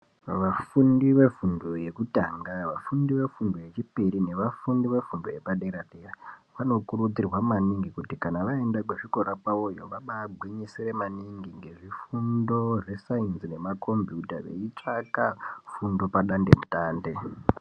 Vafundi vefundo yekutanga nevafundi vefundo yechipiri nevafundi vefundo yepadera vanokuridzirwa maningi kuti kana vaenda kuzvikora kwavo vaimbano gwinyisire maningi ngezvifundo zvesainzi nemakombuyuta nekutsvake fundo padande mutande.